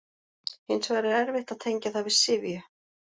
Hins vegar er erfitt að tengja það við syfju.